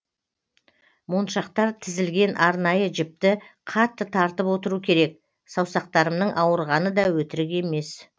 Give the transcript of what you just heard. моншақтар тізілген арнайы жіпті қатты тартып отыру керек саусақтарымның ауырғаны да өтірік емес